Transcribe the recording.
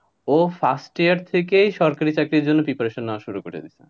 ও first year থেকেই সরকারি চাকরির জন্য preparation নেওয়া শুরু করে দিয়েছে।